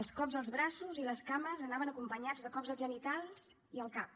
els cops als braços i les cames anaven acompanyats de cops als genitals i al cap